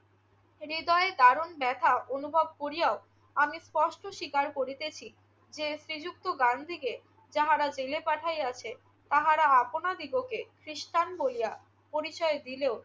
হৃদয়ে দারুণ ব্যথা অনুভব করিয়াও আমি স্পষ্ট স্বীকার করিতেছি যে, শ্রীযুক্ত গান্ধীকে যাহারা জেলে পাঠাইয়াছে তাহারা আপনাদিগকে খ্রিষ্টান বলিয়া পরিচয় দিলেও